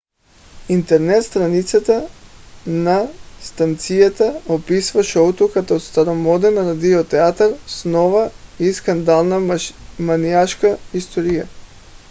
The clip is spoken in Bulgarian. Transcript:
интернет страницата на станцията описва шоуто като старомоден радио театър с нова и скандална маниашка история!